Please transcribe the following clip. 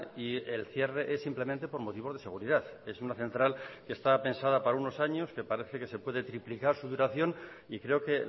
y el cierre es simplemente por motivos de seguridad es una central que está pensada para unos años que parece que se puede triplicar su duración y creo que